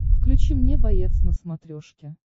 включи мне боец на смотрешке